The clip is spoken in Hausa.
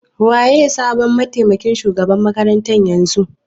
Waye sabon matemakin shugaban makarantar yanzu?